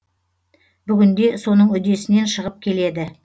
бүгінде соның үдесінен шығып келеді